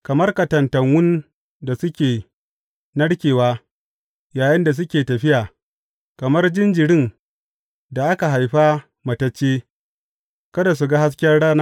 Kamar katantanwun da suke narkewa yayinda suke tafiya, kamar jinjirin da aka haifa matacce, kada su ga hasken rana.